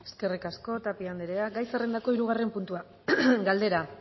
eskerrik asko tapia anderea gai zerrendako hirugarren puntua galdera